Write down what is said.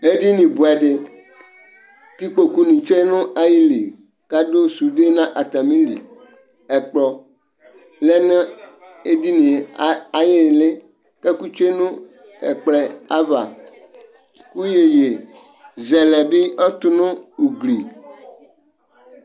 eɗɩnɩ ɓʊɛɗɩ ɩƙpoƙʊnɩtsʊe nʊ aƴɩlɩ aɗʊ ɛƙʊƴɛlʊnʊ atamɩlɩ ɛƙplɔ lɛnʊ eɗɩŋne aƴɩɩlɩ ɛƙʊtsʊenʊ ɛƙplɔɛ aƴaʋa ɩƴoƴɩɓɩ tʊnʊ ʊglɩ